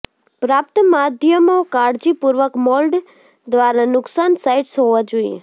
પ્રાપ્ત માધ્યમો કાળજીપૂર્વક મોલ્ડ દ્વારા નુકસાન સાઇટ્સ હોવા જોઈએ